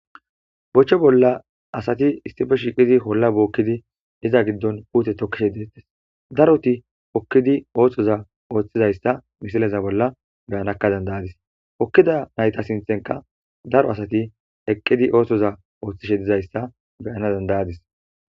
boche bolla asati issippe shiiqidi holla bookkidi iza giddon puute tokkishe deettes daroti okkidi ooththoza ooththizayssa misileza bolla beyanakka dandayadis okkida nayta sinthenka daro asati eqqidi oohthoza ooththishe dizayssa beyana dandayadis